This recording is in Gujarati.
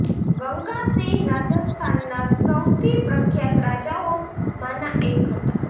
ગંગા સિંહ રાજસ્થાનના સૌથી પ્રખ્યાત રાજાઓ માંના એક હતાં